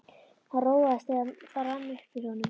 Hann róaðist, þegar það rann upp fyrir honum.